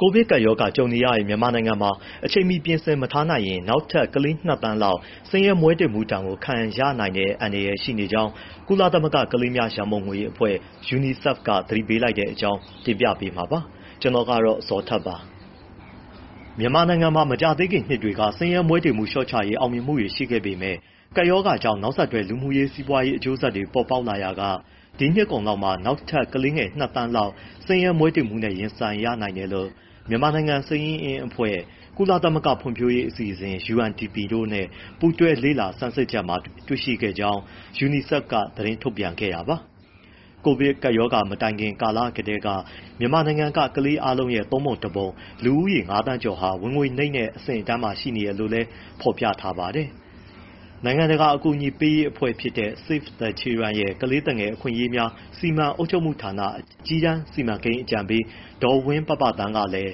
ကိုဗစ်ကပ်ရောဂါကြုံနေရတဲ့ မြန်မာနိုင်ငံမှာ အချိန်မီပြင်ဆင်မထားနိုင်ရင် နောက်ထပ် ကလေး ၂ သန်းလောက် ဆင်းရဲမွဲတေမှုဒဏ် ခံရနိုင်တဲ့ အန္တရာယ် ရှိနေတဲ့အကြောင်း ကုလသမဂ္ဂ ကလေးများ ရန်ပုံငွေအဖွဲ့ UNICEF က သတိပေးလိုက်တဲ့အကြောင်း ကိုဇော်ထက် က တင်ဆက်ထားပါတယ်။ မြန်မာနိုင်ငံမှာ မကြာသေးခင်နှစ်တွေက ဆင်းရဲမွဲတေမှုလျှော့ချရေး အောင်မြင်မှုတွေ ရှိခဲ့ပေမဲ့ ကပ်ရောဂါကြောင့် နောက်ဆက်တွဲ လူမှုရေး၊ စီးပွားရေး အကျိုးဆက်တွေ ပေါ်ပေါက်လာရာက ဒီနှစ်ကုန်လောက်မှာ နောက်ထပ် ကလေးငယ် ၂ သန်းလောက် ဆင်းရဲမွဲတေမှုနဲ့ ရင်ဆိုင်ရနိုင်တယ်လို့ မြန်မာနိုင်ငံ ဗဟိုစာရင်းအင်းအဖွဲ့၊ ကုလသမဂ္ဂ ဖွံ့ဖြိုးရေးအစီအစဉ် UNDP တို့နဲ့ ပူးတွဲလေ့လာ ဆန်းစစ်ချက်မှာ တွေ့ရှိခဲ့ကြောင်း UNICEF က သတင်းထုတ်ပြန်ခဲ့တာပါ။ ကပ်ရောဂါကာလမတိုင်ခင်မှာကတည်းက မြန်မာနိုင်ငံက ကလေးအားလုံးရဲ့ ၃ ပုံ ၁ ပုံ၊ လူဦးရေ ၅ သန်းကျော်ဟာ ဝင်ငွေနိမ့်တဲ့ အဆင့်အတန်းမှာ ရှိနေတယ်လို့လည်း ဖော်ပြထားပါတယ်။ နိုင်ငံတကာ အကူအညီပေးရေး အဖွဲ့တခုဖြစ်တဲ့ Save the Children ရဲ့ ကလေးသူငယ်အခွင့်အရေးများ စီမံအုပ်ချုပ်မှုဌာန အကြီးတန်း စီမံကိန်းအကြံပေး ဒေါ်ဝင်းပပသန်းကလည်း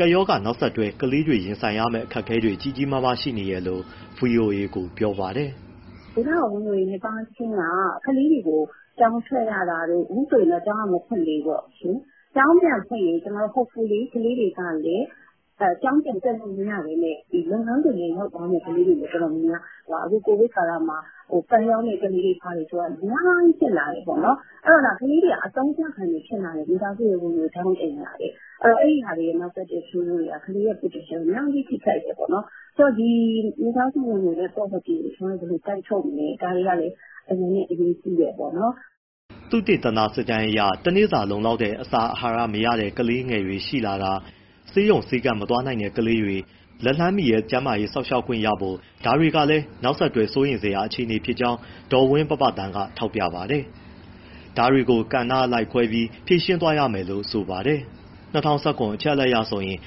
ကပ်ရောဂါ နောက်ဆက်တွဲ ကလေးတွေ ရင်ဆိုင်ရမယ့် အခက်အခဲတွေ ကြီးကြီးမားမား ရှိနေတယ်လို့ ဗွီအိုအေကို ပြောပါတယ်။ “ ဝင်ငွေနည်းပါးခြင်းက ကလေးတွေကို ကျောင်းထွက်ရတာတို့ အခုဆိုရင် ကျောင်းကမဖွင့်သေးဘူးပေါ့နော်၊ ကျောင်းပြန်ဖွင့်ရင် ကလေးတွေက ကျောင်းပြန်တက်လို့မရဘဲ လုပ်ငန်းခွင်ထဲ ရောက်သွားမယ့် ကလေးတွေ တော်တော်များများ ရှိတယ်၊ အခု ကိုဗစ်ကာလမှာ ပန်းရောင်းတဲ့ ကလေးတွေ ဘာတွေဆိုတာ အများကြီးဖြစ်လာတယ်၊ အဲဒီတော့ ကလေးတွေက အသုံးချခံတွေဖြစ်လာတယ်၊ မိဘရဲ့ ဝင်ငွေ တထောင့်တနေရာအတွက်၊ အဲဒီဟာနဲ့ နောက်ဆက်တွဲ ဆိုးကျိုးတွေက ကလေးရဲ့ potential ကို အများကြီး ထိခိုက်တယ်ပေါ့။ ဒီမိသားစုဝင်ငွေနဲ့ poverty ( နွမ်းပါးမှု) ကို ဘယ်လိုတိုက်ထုတ်မလဲ ဒါတွေကလည်း အရမ်းပဲ အရေးကြီးတယ်ပေါ့။” သုတေသနစစ်တမ်းအရ တနေ့စာလုံလောက်တဲ့ အာဟာရ မရတဲ့ ကလေးတွေ ရှိလာတာ၊ ဆေးရုံဆေးခန်း မသွားနိုင်တဲ့ ကလေးတွေ လက်လှမ်းမီတဲ့ ကျန်းမာရေး စောင့်ရှောက်ခွင့်ရဖို့ ဒါတွေလည်း နောက်ဆက်တွဲ စိုးရိမ်စရာ အခြေအနေဖြစ်ကြောင်း ဒေါ်ဝင်းပပသန်းက ထောက်ပြပါတယ်။ ဒါတွေကို ကဏ္ဍအလိုက်ခွဲပြီး ဖြေရှင်းသွားရမယ်လို့ ဆိုပါတယ်။ ၂၀၁၇ အချက်အလက်ရဆိုရင်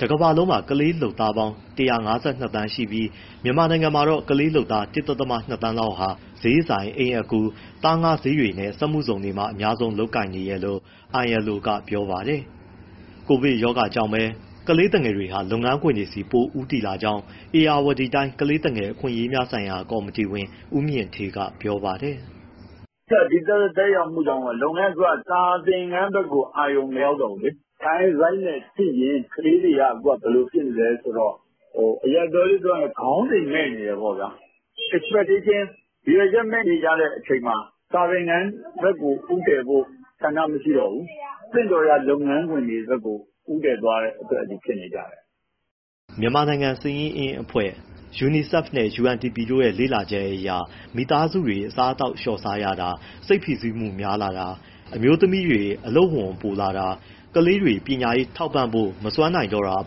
တကမ္ဘာလုံးမှာ ကလေးလုပ်သား ၁၅၂ သန်းရှိပြီး မြန်မာနိုင်ငံမှာတော့ ကလေးလုပ်သား ၁.၂ သန်းလောက်ဟာ ဈေးဆိုင်၊ အိမ်အကူ၊ သားငါးဈေးတွေနဲ့ စက်မှုဇုံတွေမှာ အများဆုံး လုပ်ကိုင်နေတယ်လို့ ILO ကပြောပါတယ်။ ကိုဗစ်ကြောင့်ပဲ ကလေးသူငယ်တွေဟာ လုပ်ငန်းခွင်တွေဆီ ပိုဦးတည်လာကြောင်း ဧရာဝတီတိုင်း ကလေးသူငယ်အခွင့်အရေးများဆိုင်ရာ ကော်မတီဝင် ဦးမြင့်ဌေးက ပြောပါတယ်။ “ အဓိက ဒီသက်ရောက်မှုကြောင့် စာသင်ခန်းဘက်ကို အာရုံမရောက်တော့ဘူး၊ child rights နဲ့ကြည့်ရင် ကလေးတွေက အခုက ဘယ်လိုဖြစ်နေလဲ ဆိုတော့ အရပ်ပြောလေး ပြောရရင် ခေါင်းစဉ်မဲ့နေတယ် ပေါ့ဗျာ၊ expedition ရည်ရွယ်ချက် မဲ့နေကြတဲ့ အချိန်မှာ စာသင်ခန်းဘက်ကို ဦးတည်ဖို့ ဆန္ဒမရှိတော့ဘူး၊ သင့်တော်ရာ လုပ်ငန်းခွင်တွေဘက်ကို ဦးတည်သွားတဲ့အတွက် ဖြစ်နေကြတယ်။” မြန်မာနိုင်ငံ ဗဟိုစာရင်းအင်းအဖွဲ့၊ UNICEF နဲ့ UNDP တို့ရဲ့ လေ့လာချက်အရ မိသားစုတွေ အစားအသောက်ကို လျှော့စားရတာ၊ စိတ်ဖိစီးမှု များလာတာ၊ အမျိုးသမီးတွေ အလုပ်ဝန်တွေပိုလာတာ၊ ကလေးတွေ ပညာရေးထောက်ပံ့ဖို့ မစွမ်းနိုင်တော့တာ အ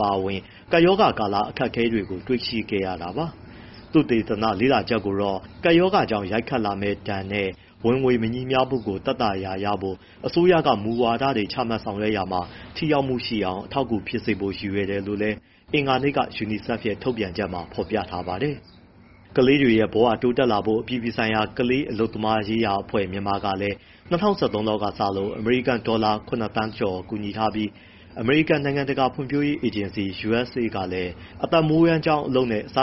ပါအဝင် ကပ်ရောဂါကာလ အခက်အခဲတွေကို တွေ့ရှိခဲ့တာပါ။ သုတေသန လေ့လာချက်ကိုတော့ ကပ်ရောဂါကြောင့် ရိုက်ခတ်လာမယ့်ဒဏ်နဲ့ ဝင်ငွေမညီမျှမှုတွေကို သက်သာရာရစေဖို့ အစိုးရက မူဝါဒတွေ ချမှတ်ဆောင်ရွက်ရာမှာ ထိရောက်မှုရှိအောင် အထောက်အကူဖြစ်စေဖို့ ရည်ရွယ်တယ်လို့လည်း အင်္ဂါနေ့က UNICEF ရဲ့ ထုတ်ပြန်ချက်မှာ ဖော်ပြထားပါတယ်။ ကလေးတွေရဲ့ ဘဝတိုးတက်လာဖို့ အပြည်ပြည်ဆိုင်ရာ ကလေးအလုပ်သမားရေးရာအဖွဲ့ ( မြန်မာ) ကလည်း ၂၀၁၃ လောက်ကစလို့ အမေရိကန်ဒေါ်လာ ၇၀၀၀၀၀၀ ( ခုနစ်သန်း) ကျော် ကူညီထားပြီး အမေရိကန် နိုင်ငံတကာဖွံ့ဖြိုးရေး အေဂျင်စီ USAID ကလည်း အသက်မွေးဝမ်းအလုပ်နဲ့ စားန